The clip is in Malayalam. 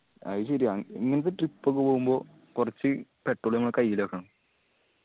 അത് ശെരിയാ ഇങ്ങനത്തെ trip ഒക്കെ പോവുമ്പോ കൊറച്ച് petrol നമ്മള കയ്യില് വെക്കണം